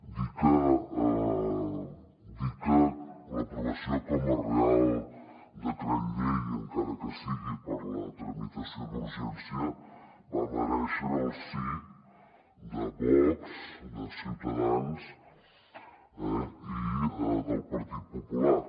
dir que dir que l’aprovació com a reial decret llei encara que sigui per la tramitació d’urgència va merèixer el sí de vox de ciutadans eh i del partit popular